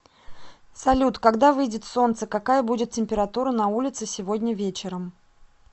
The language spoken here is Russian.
салют когда выйдет солнце какая будет температура на улице сегодня вечером